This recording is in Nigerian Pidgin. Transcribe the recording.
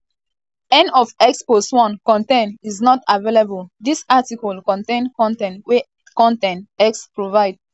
end of x post 1 con ten t is not um available dis article contain con ten t wey con ten t wey x provide. um